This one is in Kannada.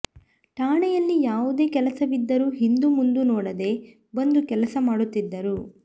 ಠಾಣೆಯಲ್ಲಿ ಯಾವುದೇ ಕೆಲಸವಿದ್ದರೂ ಹಿಂದೂ ಮುಂದೂ ನೋಡದೆ ಬಂದು ಕೆಲಸ ಮಾಡುತ್ತಿದ್ದರು